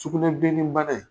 Sugunɛbileni bana in